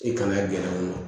I kana gindo ma